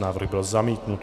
Návrh byl zamítnut.